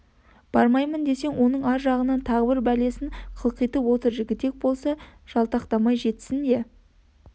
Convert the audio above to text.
бармаймын десең оның ар жағынан тағы бір бәлесін қылтитып отыр жігітек болатын болса жалтақтамай жетсін де